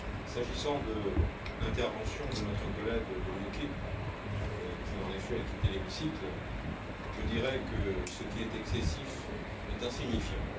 S'agissant de l'intervention de notre collègue du UKIP, qui en effet a quitté l'hémicycle, je dirai que ce qui est excessif est insignifiant.